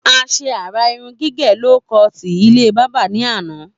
A sé àrà irun gígè ló koọ̀tì ilé bábà ní àná